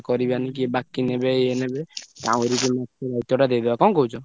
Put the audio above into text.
କରିବାନି କିଏ ବାକି ନେବେ ଇଏ ନେବେ କାଉଁରୀକି ମାଛ ଦାୟିତ୍ଵ ଟା ଦେଇଦବା କଣ କହୁଛ?